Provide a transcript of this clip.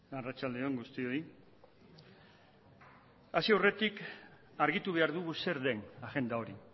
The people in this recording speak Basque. arratsalde on guztioi hasi aurretik argitu behar dugu zer den agenda hori